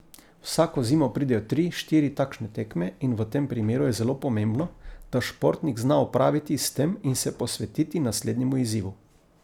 Vsako zimo pridejo tri, štiri takšne tekme in v tem primeru je zelo pomembno, da športnik zna opraviti s tem in se posvetiti naslednjemu izzivu.